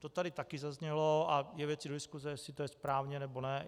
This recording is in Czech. To tady také zaznělo a je věcí do diskuse, jestli to je správně, nebo ne.